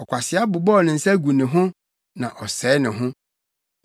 Ɔkwasea bobɔw ne nsa gu ne ho na ɔsɛe ne ho.